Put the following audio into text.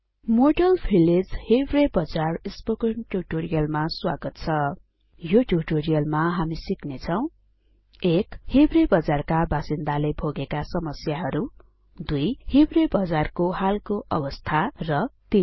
model Village160 Hiware Bazar spoken ट्युटोरियलमा स्वागत छ यो ट्युटोरियलमा हामी सिक्नेछौं १ हिवरे बजार का बासिन्दाले भोगेका समस्याहरु २हिवरे बजार को हालको अवस्था र 3